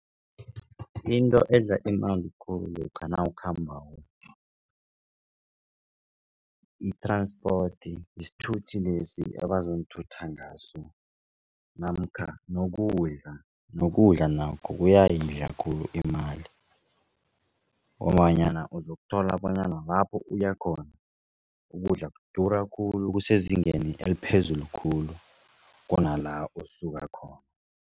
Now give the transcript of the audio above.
Into edla imali khulu lokha nawukhambako, i-transport isithuthi lesi abazonithutha ngaso namkha nokudla nokudla nakho kuyayidla khulu imali. Ngombanyana uzokuthola bona nalapho uyakhona ukudla kudura khulu kusezingeni eliphezulu khulu kunala osuka khona.